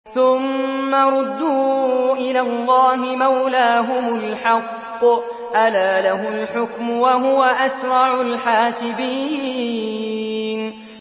ثُمَّ رُدُّوا إِلَى اللَّهِ مَوْلَاهُمُ الْحَقِّ ۚ أَلَا لَهُ الْحُكْمُ وَهُوَ أَسْرَعُ الْحَاسِبِينَ